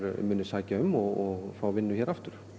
muni sækja um og fái vinnu hér aftur